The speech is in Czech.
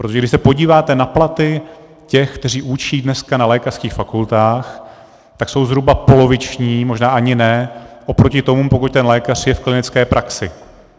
Protože když se podíváte na platy těch, kteří učí dneska na lékařských fakultách, tak jsou zhruba poloviční, možná ani ne, oproti tomu, pokud ten lékař je v klinické praxi.